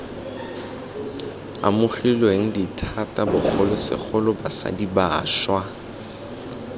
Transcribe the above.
amogilweng dithata bogolosegolo basadi bašwa